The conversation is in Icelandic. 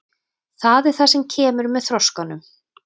Það er það sem kemur með þroskanum.